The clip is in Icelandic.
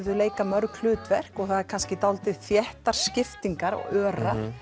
þau leika mörg hlutverk og það eru kannski dálítið þéttar skiptingar og örar